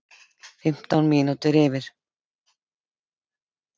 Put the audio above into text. Fimmtán mínútur yfir